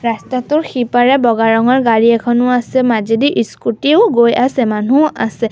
ৰাস্তাটোৰ সিপাৰে বগা ৰঙৰ গাড়ী এখনো আছে মাজেদি স্কুটিও গৈ আছে মানুহো আছে।